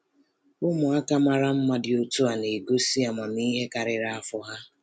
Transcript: Ụmụaka mara mma dị otu a na-egosi amamihe karịrị afọ ha.